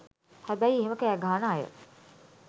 හැබැයි එහෙම කෑගහන අය